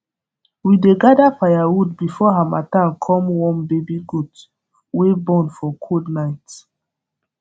we dey gather firewood before harmattan come warm baby goat wey born for cold night